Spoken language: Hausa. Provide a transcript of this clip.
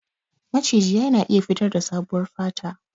Maciji yana iya fitarda sabuwar fata.